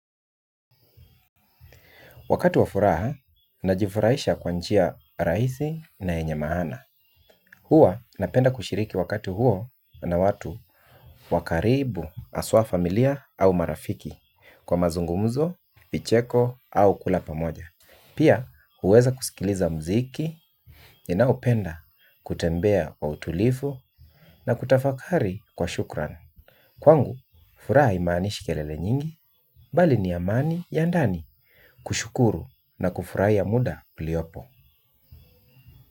Wakatu wafuraha, najifurahisha kwa njia rahisi na yenye maana. Huwa napenda kushiriki wakati huo na watu wakaribu haswa familia au marafiki kwa mazungumuzo, vicheko au kula pamoja. Pia, huweza kusikiliza muziki, ninaoupenda, kutembea kwa utulivu, na kutafakari kwa shukran. Kwangu, furaha haimanishi kelele nyingi, bali ni amani ya ndani, kushukuru na kufurahia muda uliopo.